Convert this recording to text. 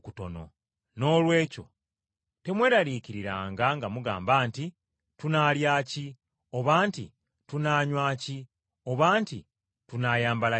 Noolwekyo temweraliikiririranga nga mugamba nti, ‘Tunaalya ki? Oba nti, Tunaanywa ki? Oba nti, Tunaayambala ki?’